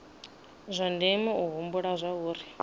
zwa ndeme u humbula zwauri